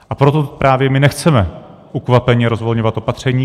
A proto my právě nechceme ukvapeně rozvolňovat opatření.